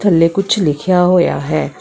ਥੱਲੇ ਕੁਛ ਲਿਖਿਆ ਹੋਇਆ ਹੈ।